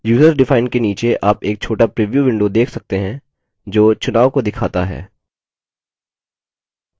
userdefined के नीचे आप एक छोटा प्रीव्यू window देख सकते हैं जो चुनाव को दिखाता है